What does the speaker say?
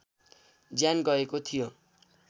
ज्यान गएको थियो